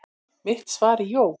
Mitt svar er jú.